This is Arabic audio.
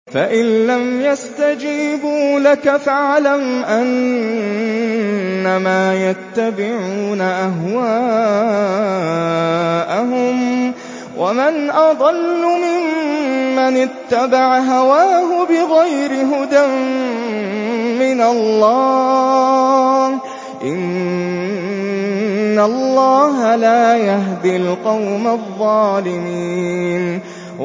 فَإِن لَّمْ يَسْتَجِيبُوا لَكَ فَاعْلَمْ أَنَّمَا يَتَّبِعُونَ أَهْوَاءَهُمْ ۚ وَمَنْ أَضَلُّ مِمَّنِ اتَّبَعَ هَوَاهُ بِغَيْرِ هُدًى مِّنَ اللَّهِ ۚ إِنَّ اللَّهَ لَا يَهْدِي الْقَوْمَ الظَّالِمِينَ